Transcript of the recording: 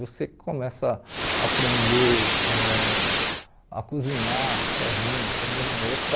Você começa a aprender ãh a cozinhar sozinho, também é outra